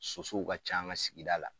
Sosow ka can an ka sigida la.